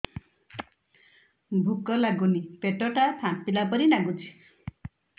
ଭୁକ ଲାଗୁନି ପେଟ ଟା ଫାମ୍ପିଲା ପରି ନାଗୁଚି